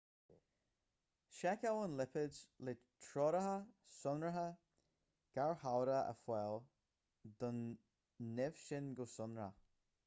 seiceáil an lipéad le treoracha sonracha garchabhrach a fháil don nimh sin go sonrach